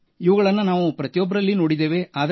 ಇವುಗಳನ್ನು ನಾವು ಪ್ರತಿಯೊಬ್ಬರಲ್ಲಿ ನೋಡಿದ್ದೇವೆ